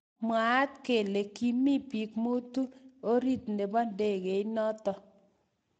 Mwaat kele kimi biik mutu orit nebo ndekeinoto